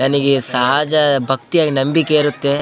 ನನಗೆ ಸಹಜ ಭಕ್ತಿ ನಂಬಿಕೆ ಇರುತ್ತೆ .